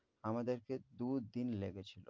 আমাদেরকে দু' দিন লেগেছিল।